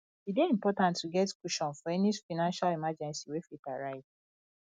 e dey important to get cushion for any financial emergency wey fit arise